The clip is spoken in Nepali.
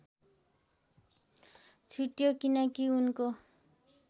छुट्यो किनकी उनको